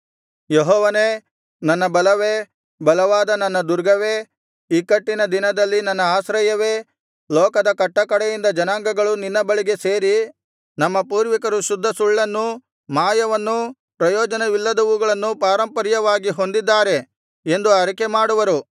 ಯೆಹೋವನೇ ನನ್ನ ಬಲವೇ ಬಲವಾದ ನನ್ನ ದುರ್ಗವೇ ಇಕ್ಕಟ್ಟಿನ ದಿನದಲ್ಲಿ ನನ್ನ ಆಶ್ರಯವೇ ಲೋಕದ ಕಟ್ಟಕಡೆಯಿಂದ ಜನಾಂಗಗಳು ನಿನ್ನ ಬಳಿಗೆ ಸೇರಿ ನಮ್ಮ ಪೂರ್ವಿಕರು ಶುದ್ಧ ಸುಳ್ಳನ್ನು ಮಾಯವನ್ನು ಪ್ರಯೋಜನವಿಲ್ಲದವುಗಳನ್ನು ಪಾರಂಪರ್ಯವಾಗಿ ಹೊಂದಿದ್ದಾರೆ ಎಂದು ಅರಿಕೆ ಮಾಡುವರು